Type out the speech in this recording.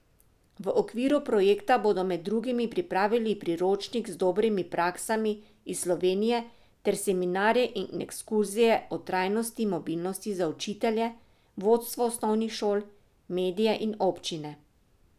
V okviru projekta bodo med drugim pripravili priročnik z dobrimi praksami iz Slovenije ter seminarje in ekskurzije o trajnostni mobilnosti za učitelje, vodstvo osnovnih šol, medije in občine.